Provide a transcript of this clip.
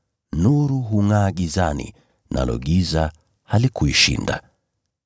Nuru hungʼaa gizani nalo giza halikuishinda.